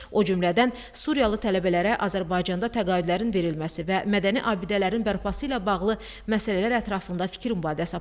O cümlədən Suriyalı tələbələrə Azərbaycanda təqaüdlərin verilməsi və mədəni abidələrin bərpası ilə bağlı məsələlər ətrafında fikir mübadiləsi aparıldı.